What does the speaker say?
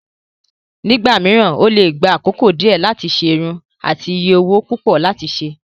Nígbà mìíràn, ó lè gba àkókò díẹ̀ láti ṣe irun àti iye owó púpọ̀ láti ṣe.